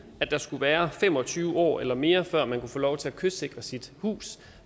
at der skulle være fem og tyve år eller mere før man kunne få lov til at kystsikre sit hus